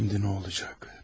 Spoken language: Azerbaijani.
Bəs indi nə olacaq?